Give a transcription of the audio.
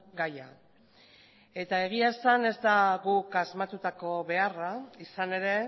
gaia eta egia esan ez da guk asmatutako beharra izan ere